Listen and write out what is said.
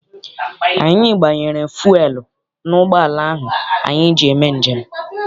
Anyi gbanyere fuelu n'ụgbọala ahụ anyị ji eme njem.